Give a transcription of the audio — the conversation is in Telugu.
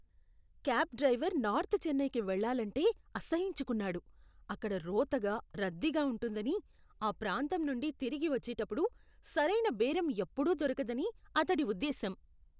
క్యాబ్ డ్రైవర్ నార్త్ చెన్నైకి వెళ్ళాలంటే అసహ్యించుకున్నాడు. అక్కడ రోతగా, రద్దీగా ఉంటుందని, ఆ ప్రాంతం నుండి తిరిగి వచ్చేటప్పుడు సరైన బేరం ఎప్పుడూ దొరకదని అతడి ఉద్దేశ్యం.